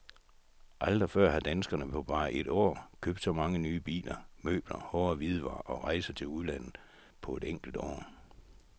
Aldrig før har danskerne på bare et år købt så mange nye biler, møbler, hårde hvidevarer og rejser til udlandet på et enkelt år.